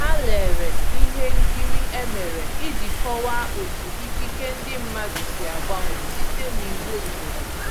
Ha lere ihe nkiri e mere iji kọwaa otu ikike ndi mmadụ si agbanwe site n’iwu obodo.